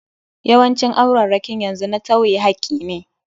Yawancin aurarrakin yanzu a na tawye hakki.